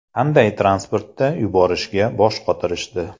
Qanday transportda yuborishga bosh qotirishdi.